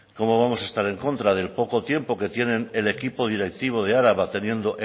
cómo vamos a estar en contra del poco tiempo que tienen el equipo directivo de araba teniendo